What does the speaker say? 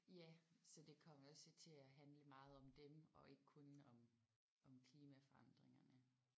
Ja så det kom også jo til at handle om meget om dem og ikke kun om om klimaforandringerne